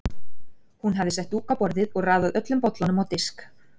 Hún hafði sett dúk á borðið og raðað öllum bollunum á disk.